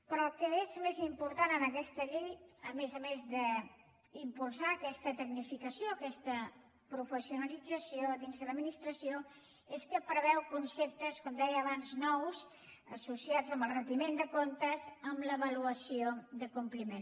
però el que és més important en aquesta llei a més d’impulsar aquesta tecnificació aquesta professionalització dins de l’administració és que preveu conceptes com deia abans nous associats amb el retiment de comptes amb l’avaluació de compliment